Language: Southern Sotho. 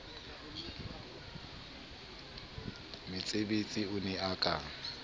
metsebetsi o ne o ka